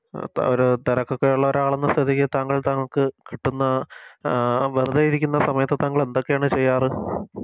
ഒര് തെരക്കൊക്കെ ഒള്ള ഒരാളെന്ന സ്ഥിതിക്ക് താങ്കൾ താങ്കൾക്ക് കിട്ടുന്ന അഹ് വെറുതെ ഇരിക്കുന്ന സമയത്ത് താങ്കളെന്തൊക്കെയാണ് ചെയ്യാറ്